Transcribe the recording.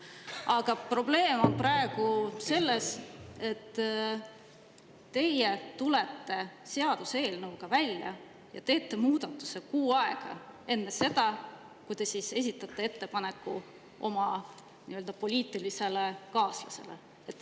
Aga probleem on praegu selles, et teie tulete seaduseelnõuga välja ja teete muudatuse kuu aega enne seda, kui te esitate ettepaneku oma poliitilisele kaaslasele.